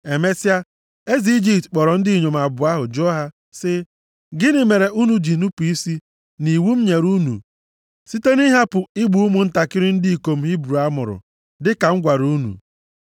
Emesịa, eze Ijipt kpọrọ ndị inyom abụọ ahụ jụọ ha sị, “Gịnị mere unu ji nupu isi nʼiwu m nyere unu site nʼịhapụ igbu ụmụntakịrị ndị ikom Hibru a mụrụ, dịka m gwara unu?”